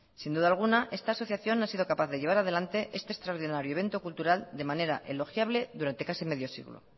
sin duda alguna esta asociación ha sido capaz de llevar adelante este extraordinario evento cultural de manera elogiable durante casi medio siglo